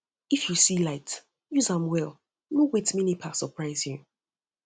if you see light use am well no wait make nepa surprise you